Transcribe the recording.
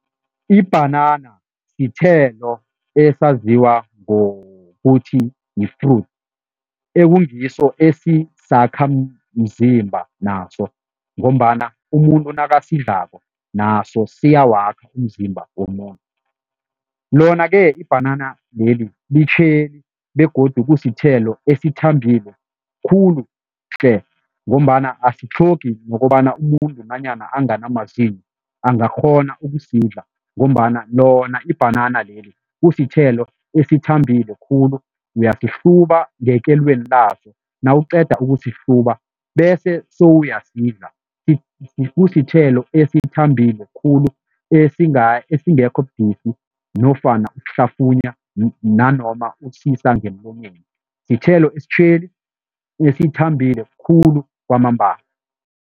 Ibhanana sithelo esaziwa ngokuthi yi-fruit ekungiso esisakhamzimba naso ngombana umuntu nakasidlako naso siyawakha umzimba womuntu. Lona-ke ibhanana leli litjheli begodu kusithelo esithambile khulu-tle ngombana asitlhogi ngokobana umuntu nanyana angana amazinyo angakghona ukusidla ngombana lona ibhanana leli kusithelo esithambile khulu, uyasihluba ngekelweni laso nawuqeda ukusihluba bese sowuyasidla, kusithelo esithambile khulu esingekho budisi nofana ukuhlafunya nanoma ukusisa ngemlonyeni, sithelo esitjheli esithambile khulu kwamambala.